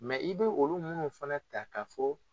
Mɛ i bɛ olu minnu fana ta k'a fɔ